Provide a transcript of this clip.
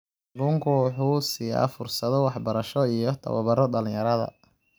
Kalluunku waxa uu siiyaa fursado waxbarasho iyo tababaro dhalinyarada.